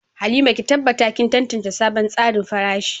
Halima, ki tabbata kin tantance sabon tsarin farashi.